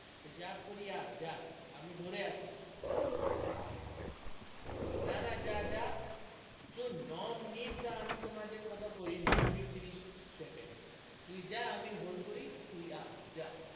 পেসাব করি আয় জা আমি ধরি আছি না না জা জা, শুন নয় মিনিটটা আমি তোমাদের কথা কই নয় মিনিট তিরিস second তুই যাহ আমি hold করি, তুই জা,